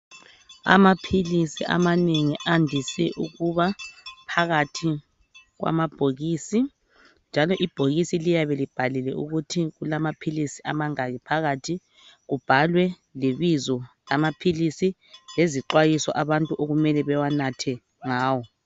Amaphilisi amanengi andise ukuba phakathi kwamabhokisi njalo ibhokisi liyabe libhaliwe ukuthi kulamaphili amangaki phakathi kubhalwe lebizo lamaphilisi lezixwayiso abantu okumele bewanathe nyawo.